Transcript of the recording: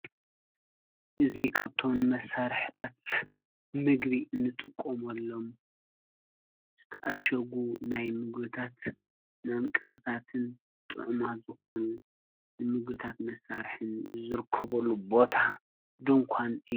እዙ ኻብቶን መሣርሕታት ምግቢ እንጥቁምሎም ዝተኣሸጉ ናይ ምጉታት ናምቀርታትን ጥዕማት ዘኾኑ ንምጉታት መሣርሕን ዘርክቡሉ ቦታ ድንኳን እዩ።